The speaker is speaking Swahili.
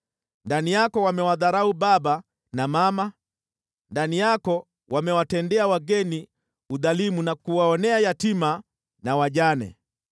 Ndani yako wamewadharau baba na mama, ndani yako wamewatendea wageni udhalimu na kuwaonea yatima na wajane.